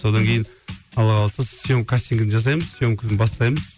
содан кейін алла қаласа сьемка кастингін жасаймыз сьемканы бастаймыз